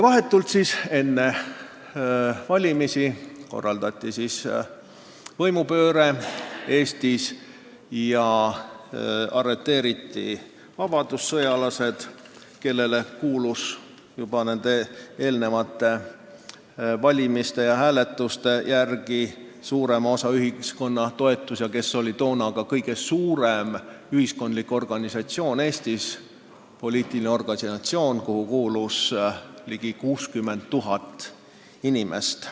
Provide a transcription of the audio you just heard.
Vahetult enne valimisi korraldati Eestis võimupööre ja arreteeriti vabadussõjalased, kellele kuulus nende eelnenud hääletuste järgi suurema osa ühiskonna toetus ja kes oli toona ka kõige suurem poliitiline organisatsioon Eestis: sinna kuulus ligi 60 000 inimest.